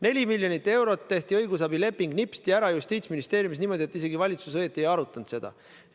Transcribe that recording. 4 miljonit eurot maksev õigusabileping tehti Justiitsministeeriumis nipsti ära niimoodi, et valitsus isegi õieti ei arutanud seda.